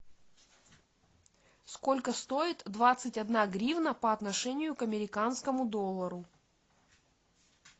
сколько стоит двадцать одна гривна по отношению к американскому доллару